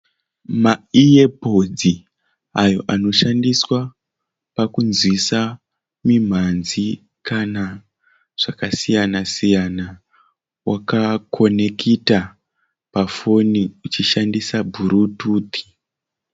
Ma iye podzi ayo anoshandiswa kunzwisa mimanzi kana zvakasiyanasiyana wakakonekita pa foni ushishandisa burututi.